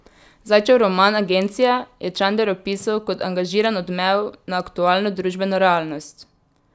Zajčev roman Agencija je Čander opisal kot angažiran odmev na aktualno družbeno realnost.